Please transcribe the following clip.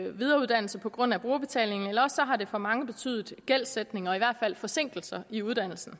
videreuddannelse på grund af brugerbetalingen eller også har det for mange betydet gældsætning og i hvert fald forsinkelser i uddannelsen